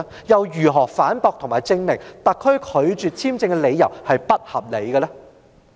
如何反駁和證明特區政府拒發簽證並不合理呢？